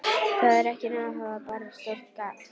Það er ekki nóg að hafa bara stórt gat